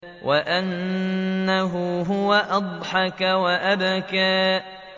وَأَنَّهُ هُوَ أَضْحَكَ وَأَبْكَىٰ